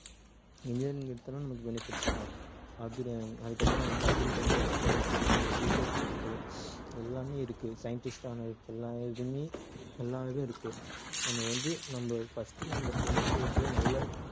engineering எடுத்தாலும் நமக்கு benefits தான் அதுக்கப்புறம் வந்து agriculture studies இருக்கு இருக்கு எல்லாமே இருக்கு scientist ஆகுறதுக்கு எல்லா இதுவுமே எல்லா இதுவும் இருக்கு நம்ம வந்து நம்ம first நம்ம tenth twelveth ல நல்ல